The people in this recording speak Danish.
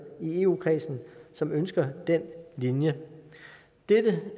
i eu kredsen som ønsker den linje dette